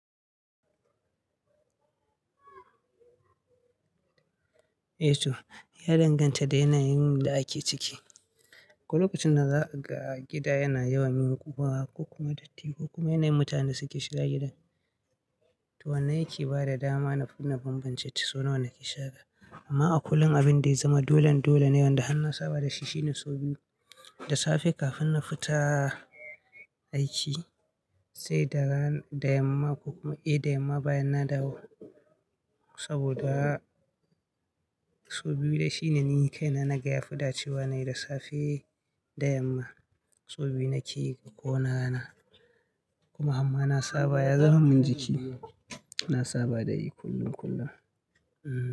Eh toh, ya danganta da yanayin da ake ciki. Ko lokacin da za a ga gida yana yawan yin ƙuma ko kuma datti ko kuma yanayin mutanen da suke shiga gidan. To wannan yake ba da dama na fidda bambance sau nawa na ke shara. Amma a kullum abin da ya zama dolen dole ne wanda harna saba da shi shine sau biyu da safe kafin na fita aiki sai dara da yamma ko kuma eh da yamma bayan na dawo. Saboda sau biyu dai shi ne ni kai na naga ya fi dacewa nayi da safe da yamma sau biyu nake yi a ƙoni rana. Kuma amma na saba ya zama min jiki, na saba da yi kullum kullum. Hmm.